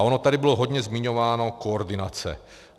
A ona tady bylo hodně zmiňována koordinace.